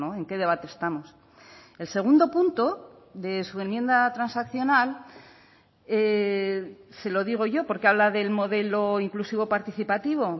en qué debate estamos el segundo punto de su enmienda transaccional se lo digo yo porque habla del modelo inclusivo participativo